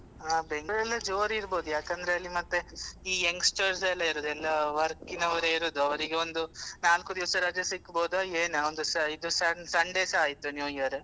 ಆ Bangalore ಅಲ್ಲಿ ಎಲ್ಲ ಜೋರ್ ಇರ್ಬೋದು ಯಾಕಂದ್ರೆ ಅಲ್ಲಿ ಮತ್ತೆ ಈ youngsters ಎಲ್ಲಾ ಇರೋದು ಎಲ್ಲ work ನವರೇ ಇರುದು ಅವ್ರಿಗೆ ಒಂದು ನಾಲ್ಕು ದಿವ್ಸ ರಜೆ ಸಿಕ್ಕಾಬೋದ ಏನ ಇದು ಇದು Su~ Sunday ಸ ಆಯ್ತು new year .